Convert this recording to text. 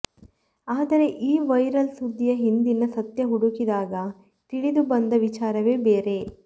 ಆದರೆ ಈ ವೈರಲ್ ಸುದ್ದಿಯ ಹಿಂದಿನ ಸತ್ಯ ಹುಡುಕಿದಾಗ ತಿಳಿದು ಬಂದ ವಿಚಾರವೇ ಬೇರೆ